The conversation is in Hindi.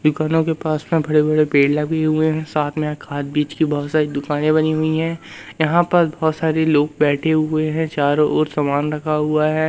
दुकानों के पास बड़े बड़े पेड़ लगे हुए हैं और साथ में खाद बीज की बहुत सारी दुकानें बनी हुई हैं यहां पर बहोत सारे लोग बैठे हुए हैं चारों ओर सामान रखा हुआ है।